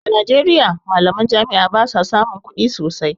A Najeriya malaman jami'a basu samun kuɗi sosai